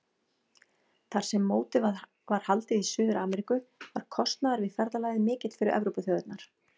Þar sem mótið var haldið í Suður-Ameríku var kostnaður við ferðalagið mikill fyrir Evrópuþjóðirnar.